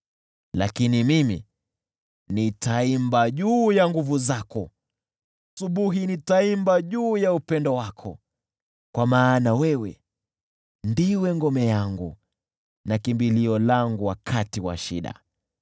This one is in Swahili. Lakini mimi nitaziimba nguvu zako, asubuhi nitaimba juu ya upendo wako; kwa maana wewe ndiwe ngome yangu na kimbilio langu wakati wa shida.